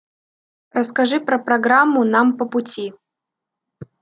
расскажи про программу нам по пути